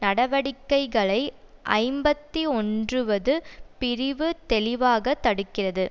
நடவடிக்கைளை ஐம்பத்தி ஒன்றுவது பிரிவு தெளிவாக தடுக்கிறது